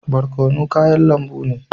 Barkono kayan lambu ne.